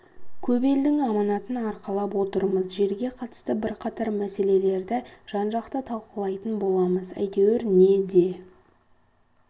көп елдің аманатын арқалап отырмыз жерге қатысты бірқатар мәселелерді жан-жақты талқылайтын боламыз әйтеуір не де